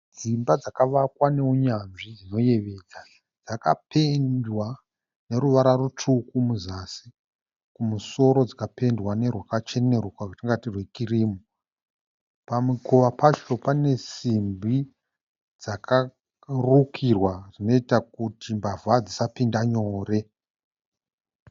Dzimba dzakavakwa neunyanzvi hwunoyevedza, dzakapendwa neruvara rwutsvuku muzasi kumusoro dzikapedwa nehwakachenuruka rwatingati hwekirimu. Pamukova pacho pane simbi dzakarukirwa dzinoita kuti mbavha dzisapinda nyore.